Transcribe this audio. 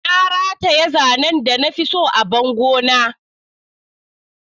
Na rataye zanen da na fi so a bango na.